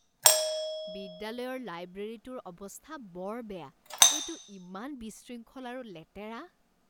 বিদ্যালয়ৰ লাইব্ৰেৰীটোৰ অৱস্থা বৰ বেয়া, এইটো ইমান বিশৃংখল আৰু লেতেৰা।